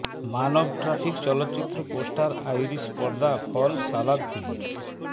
মানব traffic চলচ্চিত্র poster Irish পর্দা ফল সালাদ ফিল্মস